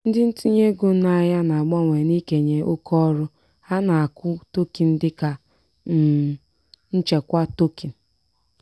ndị ntinye ego n'ahịa na-abawanye n'ikenye oke ọrụ ha n'akụ tokin dịka um nchekwa tokin.